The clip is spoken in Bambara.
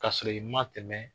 Ka sɔrɔ i ma tɛmɛ